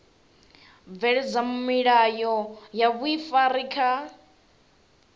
bveledza milayo ya vhuifari kha